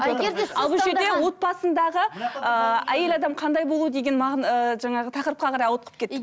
отбасындағы ыыы әйел адам қандай болу деген ыыы жаңағы тақырыпқа қарай ауытқып кетті